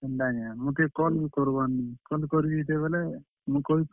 ହେନ୍ତାକେଁ ମତେ call କର୍ ବାର୍ ନି call କରିଥିତେ ବେଲେ ମୁଇଁ କହିଥିତି।